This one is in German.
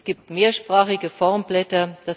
Es gibt mehrsprachige Formblätter.